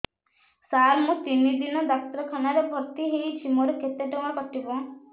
ସାର ମୁ ତିନି ଦିନ ଡାକ୍ତରଖାନା ରେ ଭର୍ତି ହେଇଛି ମୋର କେତେ ଟଙ୍କା କଟିବ